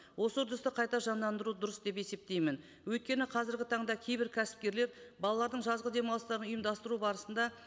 осы үрдісті қайта жандандыру дұрыс деп есептейтмін өйткені қазіргі таңда кейбір кәсіпкерлер балалардың жазғы демалыстарын ұйымдастыру барысында